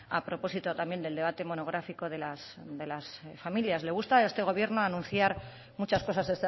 a propósito también del debate monográfico de las familias le gusta a este gobierno anunciar muchas cosas